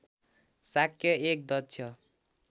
शाक्य एक दक्ष